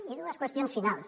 i dues qüestions finals